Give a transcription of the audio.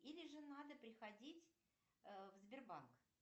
или же надо приходить в сбербанк